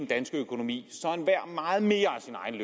danske økonomi så enhver meget mere